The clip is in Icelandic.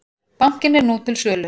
Bankinn er nú til sölu.